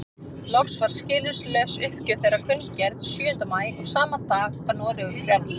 Loks var skilyrðislaus uppgjöf þeirra kunngerð sjöunda maí og sama dag var Noregur frjáls.